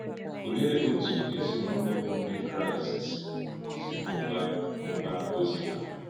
Ọ̀lee otú otu ezinụlọ bụ́ Ndị Kraịst si mụ́bàá mụ́bàá ozi ha?